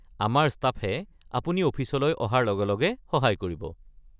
আমাৰ ষ্টাফে আপুনি অফিচলৈ অহাৰ লগে লগে সহায় কৰিব।